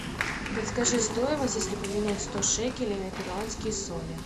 подскажи стоимость если поменять сто шекелей на перуанские соли